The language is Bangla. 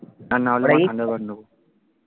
আর নাহলে thunder bird নেব